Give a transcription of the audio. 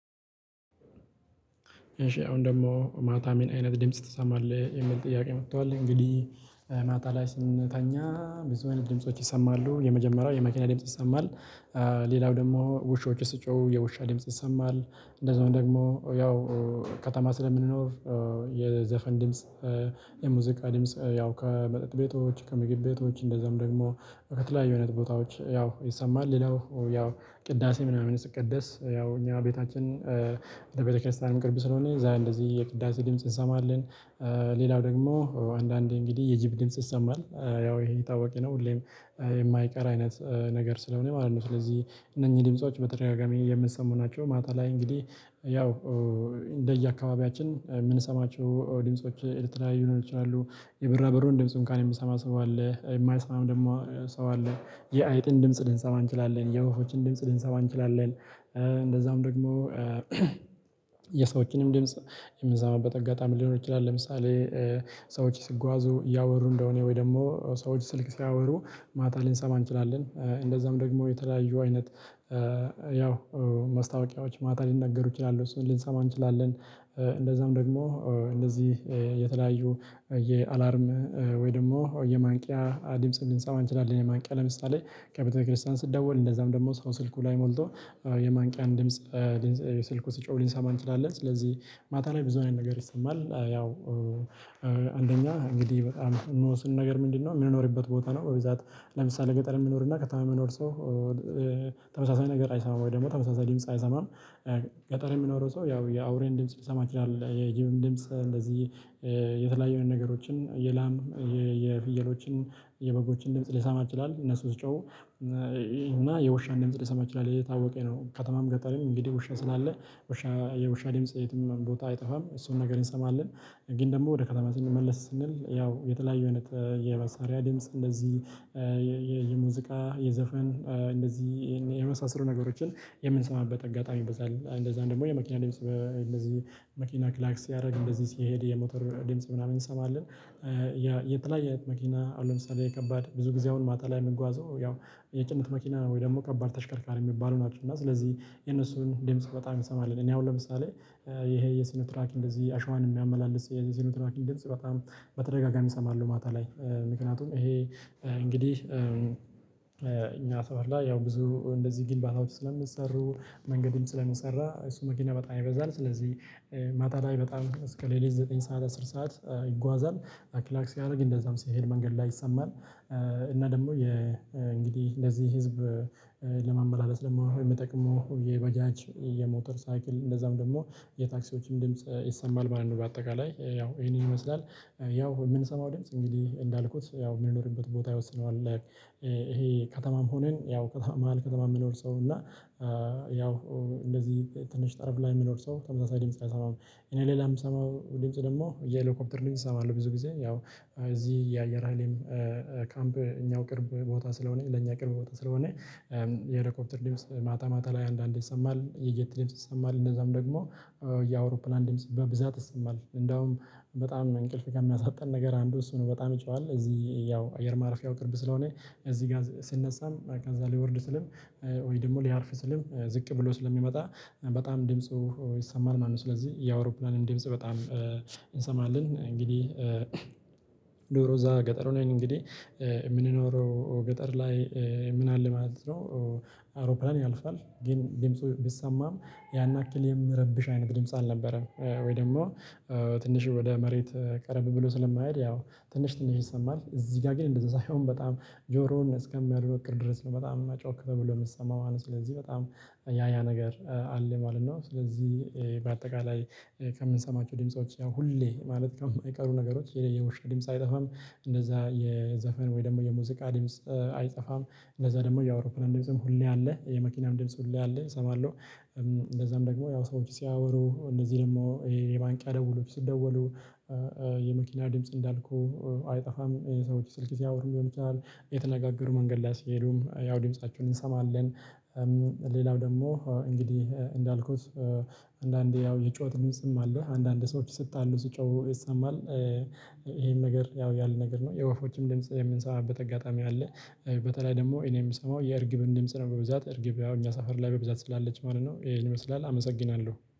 እሺ አሁን ደግሞ ማታ ምን አይነት ድምጽ ትሰማለህ የሚል ጥያቄ መጥቷል? እንግዲህ ማታ ላይ ስንተኛ ብዙ አይነት ድምጾች ይሰማሉ የመጀመሪያው የመኪና ድምጽ ይሰማል። ሌላው ደግሞ ውሾች ሲጮሁ የውሻ ድምጽ ይሰማል እንደዚሁም ደግሞ ያው ከተማ ስለምንኖር የዘፈን ድምጽ የሙዚቃ ድምጽ ያው ከመጠጥ ቤቶች ከምግብ ቤቶች እንደዛም ደግሞ ከተለያዩ አይነት ቦታዎች ያው ይሰማል። ሌላው ያው ቅዳሴ ምናምን ሲቀደስ ያው እኛ ቤታችን ለቤተክርስቲያን ቅርብ ስለሆነ እንደዚህ የቅዳሴ ድምጽ እንሰማለን። ሌላው ደግሞ አንዳንዴ እንግዲህ የጅብ ድምጽ ይሰማል ያው ይሄ የታወቀ ነው ሁሌም የማይቀር አይነት ነገር ስለሆነ ማለት ነው። ስለዚህ እነኚህ ድምጾች በተደጋጋሚ የምንሰማቸው ማታ ላይ እንግዲህ ያው እንደየአካባቢያችን የምንሰማቸው ድምጾች የተለያዩ ሊሆኑ ይችላሉ። የብራበሩን ድምጹን ቀን የሚሰማ ሰው አለ የማይሰማም ደግሞ ሰው አለ። የአይጥን ድምጽ ልንሰማ እንችላለን የወፎችን ድምጽ ልንሰማ እንችላለን። እንደዛም ደግሞ የሰዎችንም ድምጽ የምንሰማበት አጋጣሚም ሊኖር ይችላል። ለምሳሌ ሰዎች ሲጓዙ እያወሩ እንደሆነ ወይ ደግሞ ሰዎች ስልክ ሲያወሩ ማታ ላይ ልንሰማ እንችላለን። እንደዛም ደግሞ የተለያዩ አይነት ያው ማስታወቂያዎች ማታ ሊነገሩ ይችላሉ እሱን ልንሰማ እንችላለን። እንደዛም ደግሞ እንደዚህ የተለያዩ የአላርም ወይ ደግሞ የማንቂያ ድምጽ ልንሰማ አንችላለን። የማንቂያ ለምሳሌ ከቤተክርስቲያን ሲደውል እንደዛም ደግሞ ሰው ስልኩ ላይ ሞልቶ የማንቂያን ድምጽ ስልኩ ሲጮሁ ልንሰማ እንችላለን። ስለዚህ ማታ ላይ ብዙ አይነት ነገር ይሰማል። ያው አንደኛ እንግዲህ በጣም የሚወስነው ነገር ምንድነው የምንኖርበት ቦታ ነው። በብዛት ለምሳሌ ገጠር የሚኖርና ከተማ የሚኖር ሰው ተመሳሳይ ነገር አይሰማም ወይ ደግሞ ተመሳሳይ ድምጽ አይሰማም። ገጠር የሚኖረው ሰው ያው የአውሬን ድምጽ ሊሰማ ይችላል የጅብም ድምጽ እንደዚህ የተለያዩ አይነት ነገሮችን የላም የፍየሎችን የበጎችን ድምጽ ሊሰማ ይችላል። እነሱ ሲጮህ እና የውሻን ድምጽ ሊሰማ እችላለሁ ይህ የታወቀ ነው። ከተማም ገጠርም እንግዲህ ውሻ ስላለ ውሻ የውሻ ድምጽ የትኛውም ቦታ አይጠፋም እሱን ነገር እንሰማለን። ግን ደግሞ ወደ ከተማ ስንመለስ ስንል ያው የተለያዩ አይነት የመሳሪያ ድምጽ እንደዚህ የሙዚቃ የዘፈን እንደዚህ የመሳሰሉ ነገሮችን የምንሰማበት አጋጣሚ ይበዛል። እንደዛም ደግሞ የመኪና ድምጽ እንደዚህ መኪና ክላክ ሲያደርግ እንደዚህ ሲሄድ የሞተር ድምጽ ምናምን እንሰማለን። የተለያየ አይነት መኪና አሁን ለምሳሌ ከባድ ብዙ ጊዜ አሁን ማታ ላይ የሚጓዘው ያው የጭነት መኪና ነው ወይ ደግሞ ከባድ ተሽከርካሪ የሚባሉ ናቸው እና ስለዚህ የነሱን ደምጽ በጣም እንሰማለን። እኔ አሁን ለምሳሌ ይሄ የሲኖትራክ እንደዚህ አሸዋን የሚያመላልስ የሲኖትራክ ድምጽ በተደጋጋሚ እሰማለሁ። ማታ ላይ ምክንያቱም ይሄ እንግዲህ እኛ መስመር ላይ ያው ብዙ እንደዚህ ግንባታዎች ስለሚሰሩ መንገድም ስለሚሰራ እሱ መኪና በጣም ይበዛል። ስለዚህ ማታ ላይ በጣም እስከ ሌሊት ዘጠኝ ሰዓት አስር ሰዓት ይጓዛል። ክላክ ሲያደረግ እንደዛም ሲሄድ መንገድ ላይ ይሰማል። እና ደግሞ እንግዲህ እንደዚህ ህዝብ ለማመላለስ ደግሞ የሚጠቅመው የባጃጅ የሞተር ሳይክል እንደዛም ደግሞ የታክሲዎችም ድምጽ ይሰማል ማለት ነው። በአጠቃላይ ያው ይሄንን ይመስላል ያው የምንሰማው ደምጽ እንግዲህ እንዳልኩት ያው የምንኖርበት ቦታ ይወስነዋል። ይሄ ከተማም ሁነን ያው መሃል ከተማ የሚኖር ሰው እና ያው እንደዚህ ትንሽ ጠረፍ ላይ የሚኖር ሰው ተመሳሳይ ድምጽ አይሰማም። እኔ ሌላ የምሰማው ድምጽ ደግሞ የሄሊኮፕተር ድምጽ እሰማለሁ ብዙ ጊዜ ያው እዚህ የአየር ሀይልም ካምፕ እኛው ቅርብ ቦታ ስለሆነ ለእኛ ቅርብ ቦታ ስለሆነ። የሄሎኮፕተር ድምጽ ማታ ማታ ላይ አንዳንዴ ይሰማል የጄት ድምጽ ይሰማል እንደዛም ደግሞ የአውሮፕላን ድምጽ በብዛት ይሰማል። እንደውም በጣም እንቅልፍ ከሚያሳጣን ነገር አንዱ እሱ ነው። በጣም ይጨዋል እዚህ ያው አየር ማረፊያው ቅርብ ስለሆነ እዚህ ጋር ስነሳም ከዛ ሊወርድ ስልም ወይ ደግሞ ሊያርፍ ስልም ዝቅ ብሎ ስለሚመጣ በጣም ድምፁ ይሰማል ማለት ነው። ስለዚህ የአውሮፕላንም ድምጽ በጣም እንሰማለን። እንግዲህ ኑሮ እዛ ገጠሩ ላይ ነው እንግዲህ የምንኖረው ገጠር ላይ ምን አለ ማለት ነው። አውሮፕላን ያልፋል ግን ድምጽ ቢሰማም ያን ያክል የሚረብሽ አይነት ድምጽ አልነበረም። ወይ ደግሞ ትንሽ ወደ መሬት ቀረብ ብሎ ስለማይሄድ ያው ትንሽ ትንሽ ይሰማል። እዚህ ጋር ግን እንደዛ ሳይሆን በጣም ጆሮውን እስከሚያደነቁር ድረስ ነው በጣም ጮህ ተብሎ የሚሰማው ማለት ነው። ስለዚህ በጣም ያ ያ ነገር አለ ማለት ነው። ስለዚህ በአጠቃላይ ከምንሰማቸው ድምጾች ያው ሁሌ ማለት ከማይቀሩ ነገሮች የውሻ ድምጽ አይጠፋም። እንደዛ የዘፈን ወይ ደግሞ የሙዚቃ ድምጽ አይጠፋም። እንደዛ ደግሞ የአውሮፕላን ድምጽም ሁሌ አለ የመኪናም ድምጽ ሁሌ አለ እሰማለሁ። እንደዛም ደግሞ ያው ሰዎች ሲያወሩ እነዚህ ደግሞ ይሄ የማንቂያ ደውሎች ሲደወሉ የመኪና ድምጽ እንዳልኩ አይጠፋም። ሰዎች ስልክ ሲያወሩ ሊሆን ይችላል እየተነጋገሩ መንገድ ላይ ስሄዱም ያው ድምፃችውን እንሰማለን። ሌላው ደግሞ እንግዲህ እንዳልኩት አንዳንዴ ያው የጩሀት ድምጽ አለ አንዳንድ ሰዎች ሲጣሉ ሲጮሁ ይሰማል። ይሄን ነገር ያው ያለ ነገር ነው የወፎችም ድምጽ የምንሰማበት አጋጣሚ አለ። በተለይ ደግሞ እኔ የምሰማው የእርግብን ድምጽ ነው በብዛት እርግብ ያው እኛ ሰፈር ላይ በብዛት ስላለች ማለት ነው ይሄን ይመስላል። አመሰግናለሁ